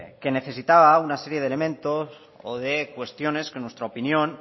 que necesitaba una serie de elementos o de cuestiones que en nuestra opinión